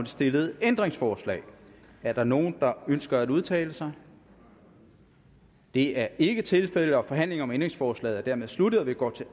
stillede ændringsforslag er der nogen der ønsker at udtale sig det er ikke tilfældet og forhandlingen om ændringsforslaget er dermed sluttet og vi går til